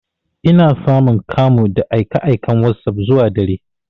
Ina samun kamu da aika aikan wasop zuwa dare.